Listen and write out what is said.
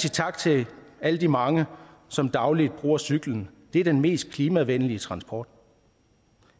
sige tak til alle de mange som dagligt bruger cyklen det er den mest klimavenlige transport